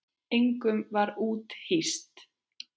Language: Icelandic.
Engum var úthýst.